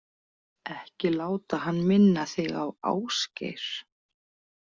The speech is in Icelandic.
Ekki láta hann minna þig á Ásgeir.